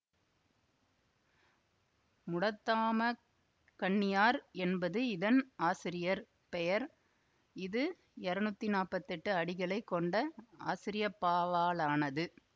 முடத்தாமக் கண்ணியார் என்பது இதன் ஆசிரியர் பெயர் இது இரநூத்தி நாப்பத்தி எட்டு அடிகளை கொண்ட ஆசிரியப்பாவாலானது